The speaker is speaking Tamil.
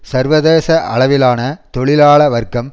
சர்வதேச அளவிலான தொழிலாள வர்க்கம்